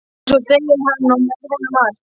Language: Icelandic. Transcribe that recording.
En svo deyr hann og með honum margt.